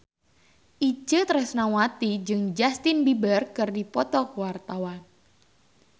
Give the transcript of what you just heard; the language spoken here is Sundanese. Itje Tresnawati jeung Justin Beiber keur dipoto ku wartawan